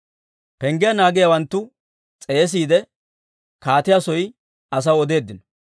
Penggiyaa naagiyaawanttu s'eesiide, kaatiyaa soy asaw odeeddino.